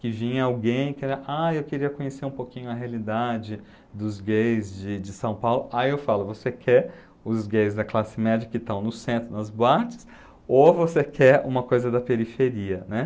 que vinha alguém que era, ah, eu queria conhecer um pouquinho a realidade dos gays de de São Paulo, aí eu falo, você quer os gays da classe média que estão no centro, nas boates, ou você quer uma coisa da periferia, né?